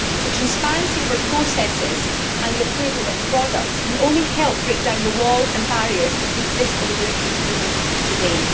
The transparency over processes and the approval of products can only help break down the walls and barriers which exist in the European Union today.